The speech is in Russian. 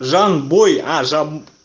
жанбой